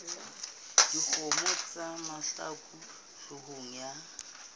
dikgopo tsa mahlaku hloohong ya